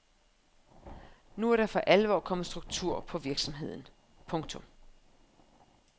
Nu er der for alvor kommet struktur på virksomheden. punktum